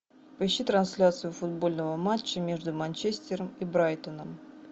поищи трансляцию футбольного матча между манчестером и брайтоном